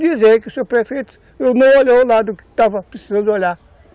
Dizer que o seu prefeito não olhou o lado que estava precisando olhar.